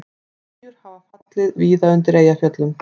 Spýjur hafa fallið víða undir Eyjafjöllum